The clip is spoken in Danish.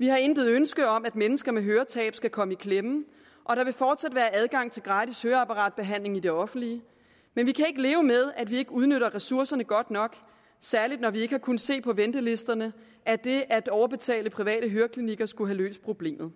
vi har intet ønske om at mennesker med høretab skal komme i klemme og der vil fortsat være adgang til gratis høreapparatbehandling i det offentlige men vi kan ikke leve med at vi ikke udnytter ressourcerne godt nok særlig når vi ikke har kunnet se på ventelisterne at det at overbetale private høreklinikker skulle have løst problemet